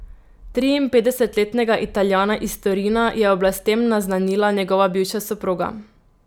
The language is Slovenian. Triinpetdesetletnega Italijana iz Torina je oblastem naznanila njegova bivša soproga.